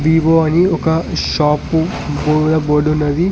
Vivo అని ఒక shop గోడ బోడున్నది .